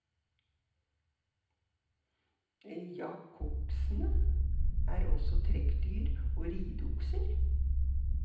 Jakoksene er også trekkdyr og rideokser.